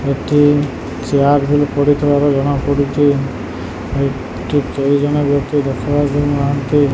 ଏଠି ଚିଆର ପଡିଥିବାର ଜଣା ପଡୁଚି ।